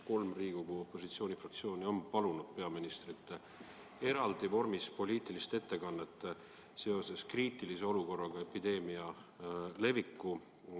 Kolm Riigikogu opositsioonifraktsiooni on palunud peaministrilt eraldi poliitilist ettekannet seoses kriitilise olukorraga epideemia leviku tõttu.